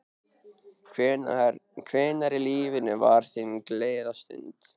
Hvenær í lífinu var þín gleðistund?